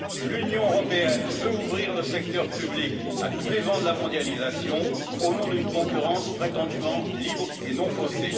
L'Union européenne veut ouvrir le secteur public à tous les vents de la mondialisation au nom d'une concurrence prétendument libre et non faussée.